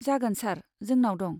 जागोन सार, जोंनाव दं।